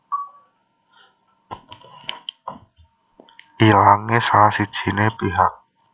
Ilangé salah sijiné pihak